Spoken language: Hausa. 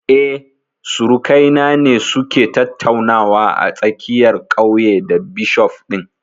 Eh, surukai na ne su ke tattaunawa a tsakiyar ƙauye da bishof ɗin